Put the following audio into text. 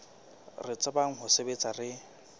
re tsebang ho sebetsa re